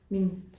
Min